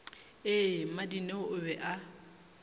ee mmadineo o be a